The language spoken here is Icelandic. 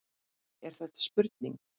Er þetta spurning?